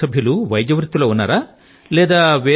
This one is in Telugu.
మీ కుటుంబ సభ్యులు వైద్య వృత్తి లో ఉన్నారా